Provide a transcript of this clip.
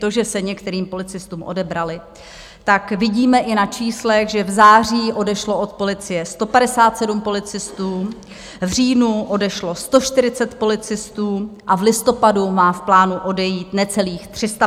To, že se některým policistům odebraly, tak vidíme i na číslech, že v září odešlo od policie 157 policistů, v říjnu odešlo 140 policistů a v listopadu má v plánu odejít necelých 350 policistů.